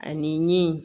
Ani min